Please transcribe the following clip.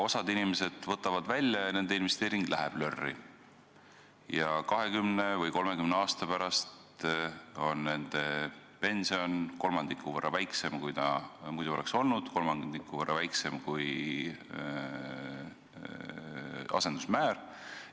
Osa inimesi võtavad selle raha välja ja nende investeering läheb lörri ning 20 või 30 aasta pärast on nende pension kolmandiku võrra väiksem, kui ta muidu oleks olnud, see on kolmandiku võrra väiksem kui asendusmäär.